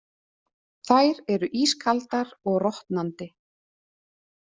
Þær eru ískaldar og rotnandi.